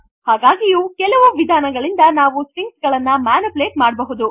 ಹಾಗಾಗಿಯೂ ಕೆಲವು ವಿಧಾನಗಳಿಂದ ನಾವು ಸ್ಟ್ರಿಂಗ್ಸ್ ಗಳನ್ನು ಮ್ಯಾನಿಪುಲೇಟ್ ಮಾಡಬಹುದು